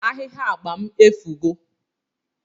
Ahihia agba m efugo